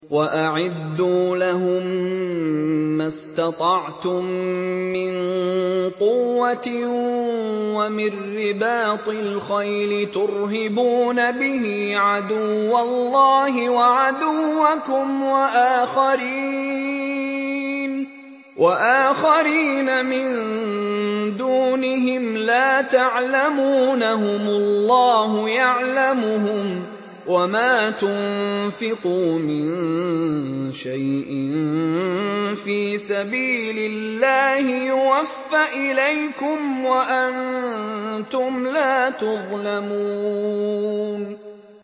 وَأَعِدُّوا لَهُم مَّا اسْتَطَعْتُم مِّن قُوَّةٍ وَمِن رِّبَاطِ الْخَيْلِ تُرْهِبُونَ بِهِ عَدُوَّ اللَّهِ وَعَدُوَّكُمْ وَآخَرِينَ مِن دُونِهِمْ لَا تَعْلَمُونَهُمُ اللَّهُ يَعْلَمُهُمْ ۚ وَمَا تُنفِقُوا مِن شَيْءٍ فِي سَبِيلِ اللَّهِ يُوَفَّ إِلَيْكُمْ وَأَنتُمْ لَا تُظْلَمُونَ